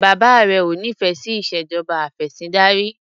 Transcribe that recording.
Bàbá rẹ ò nífẹẹ sí ìṣèjọba afẹ̀sìndarí.